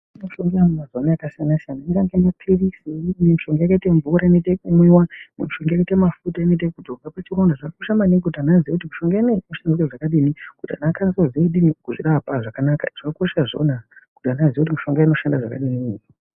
.......... mazuwano yakasiyana siyana ingange maphirizi imweni mishonga yakaite mvura inoite ekumwiwa, imwe mishonga yakaite mafuta inoite ekudzorwa pachironda zvakakosha maningi kuti anhu aziye kuti mishonga ineyi inoshande zvakadini kuti anhu akwanise kuzvidini kuzvirapa zvakanaka zvakakosha izvona kuti anhu aziye kuti mishonga inoshanda zvakadini.